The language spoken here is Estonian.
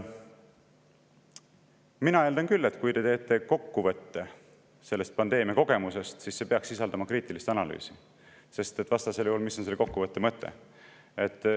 Mina eeldan küll, et kui te teete kokkuvõtte pandeemia kogemusest, siis see peaks sisaldama kriitilist analüüsi, sest vastasel juhul, mis on selle kokkuvõtte mõte.